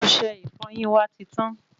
Ọsẹ ìfọyín wa ti tán